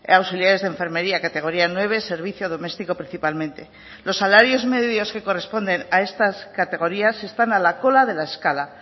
auxiliares de enfermería categoría nueve servicio doméstico principalmente los salarios medios que corresponden a estas categorías están a la cola de la escala